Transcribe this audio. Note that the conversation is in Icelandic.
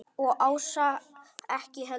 Og Ása ekki heldur.